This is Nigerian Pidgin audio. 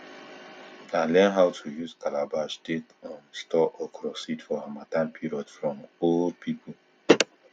i learn how to use calabash take um store okro seed for harmattan period from old pipo